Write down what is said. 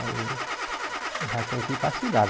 Aí já tem que ir para a cidade.